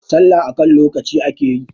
sallah a kan lokaci ake yi!